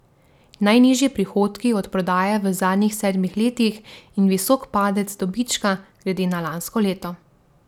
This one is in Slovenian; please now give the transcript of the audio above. Najnižji prihodki od prodaje v zadnjih sedmih letih in visok padec dobička glede na lansko leto.